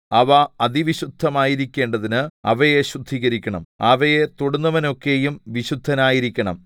അവ അതിവിശുദ്ധമായിരിക്കേണ്ടതിന് അവയെ ശുദ്ധീകരിക്കണം അവയെ തൊടുന്നവനൊക്കെയും വിശുദ്ധനായിരിക്കണം